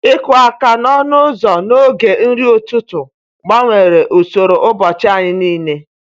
Ịkụ aka n’ọnụ ụzọ n’oge nri ụtụtụ gbanwere usoro ụbọchị anyị niile.